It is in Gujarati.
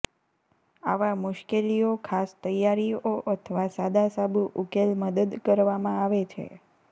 આવા મુશ્કેલીઓ ખાસ તૈયારીઓ અથવા સાદા સાબુ ઉકેલ મદદ કરવામાં આવે છે